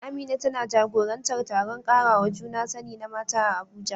Amina tana jagorantar taron karawa juna sani na mata a Abuja.